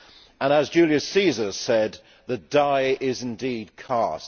And as Julius Caesar said, the die is indeed cast.